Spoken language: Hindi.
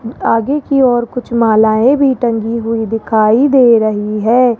आगे की और कुछ मालाएं भी टंगी हुई दिखाई दे रही है।